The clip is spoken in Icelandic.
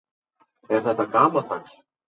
Er þetta gamaldags?